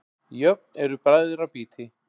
Jöfn eru bræðra býti.